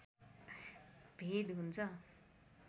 भेद हुन्छ